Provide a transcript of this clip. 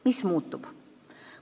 Mis muutub?